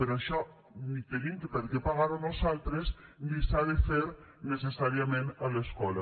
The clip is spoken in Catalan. però això ni tenim per què pagar ho nosaltres ni s’ha de fer necessàriament a l’escola